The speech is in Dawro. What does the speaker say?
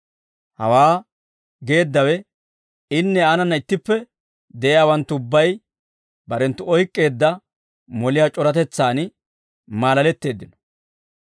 Hawaa geeddawe inne aanana ittippe de'iyaawanttu ubbay barenttu oyk'k'eedda moliyaa c'oratetsaan maalaletteeddino.